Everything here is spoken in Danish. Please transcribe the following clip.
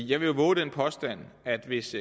jeg vil vove den påstand at hvis